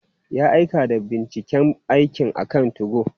Ya aika da binciken aikin akan 2go.